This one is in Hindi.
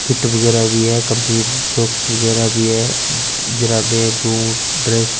फीट वगेरह भी है कम्पलीट सॉक्स वगेरह भी है जुराबे बूट ड्रेस --